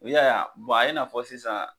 I y'a ye a ye n'a fɔ sisan